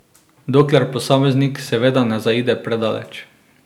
Dokler posameznik seveda ne zaide predaleč.